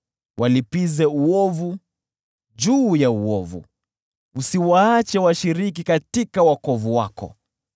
Walipize uovu juu ya uovu, usiwaache washiriki katika wokovu wako.